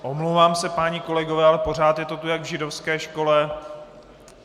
Omlouvám se, páni kolegové, ale pořád je to tu jak v židovské škole.